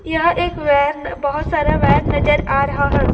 यह एक वैन बहोत सारा वैन नजर आ रहा है।